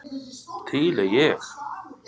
Til er ég.